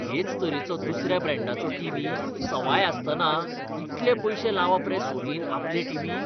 हेच तरेचो दुसऱ्या ब्रँडाचो टीव्ही सवाय आसतना इतले पयशे लावप रे सोनीन आपले टीव्हीक!